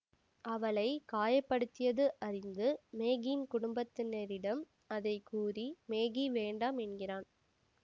அவளை காய படுத்தியது அறிந்து மேகியின் குடும்பத்தினரிடம் அதை கூறி மேகி வேண்டாம் என்கிறான்